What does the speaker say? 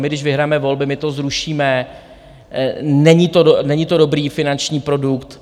My, když vyhrajeme volby, tak to zrušíme, není to dobrý finanční produkt.